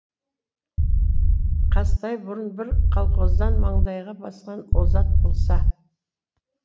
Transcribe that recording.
қазтай бұрын бір колхоздың маңдайға басқан озат болса